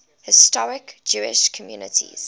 historic jewish communities